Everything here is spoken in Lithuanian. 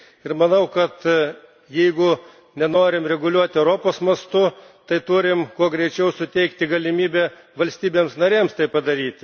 Ir manau, kad jeigu nenorime reguliuoti Europos mastu, tai turime, kuo greičiau suteikti galimybę valstybėms narėms tai padaryti.